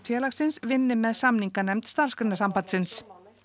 félagsins vinni með samninganefnd Starfsgreinasambandsins